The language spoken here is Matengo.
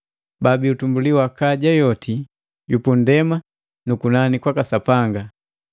baabii utumbuli wa kaja yoti yu pundema nu kunani kwaka Sapanga,